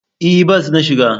E, bas na shiga.